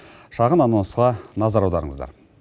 шағын анонсқа назар аударыңыздар